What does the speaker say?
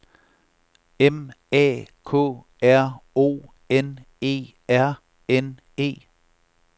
M A K R O N E R N E